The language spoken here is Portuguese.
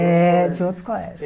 É, de outros colégios.